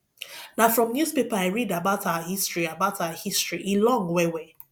na from newspaper i read about our history about our history e long wellwell